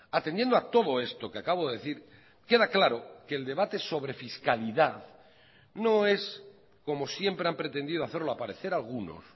atendiendo a todo esto que acabo de decir queda claro que el debate sobre fiscalidad no es como siempre han pretendido hacerlo aparecer algunos